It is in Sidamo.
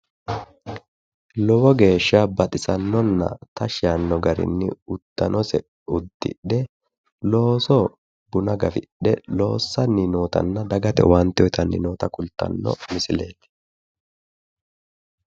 lowo geeshsha baxisannona tashshi yaanno garinnni uddanose uddidhe loosoho buna gafidhe loossanni nootanna dagate owaante uyiitanni noota kultanno misileeti.